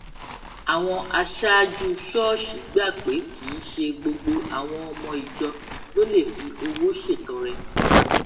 àwọn aṣáájú ṣóòṣì gbà pé kì í ṣe gbogbo àwọn ọmọ ìjọ ló lè fi owó ṣètọrẹ